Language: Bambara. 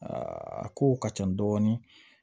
a kow ka ca dɔɔni